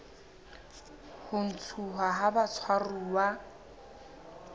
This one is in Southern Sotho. la ho ntshuwa ha batshwaruwa